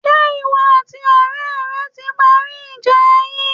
Ṣé ìwọ àti ọ̀rẹ́ rẹ ti parí ìjà yín?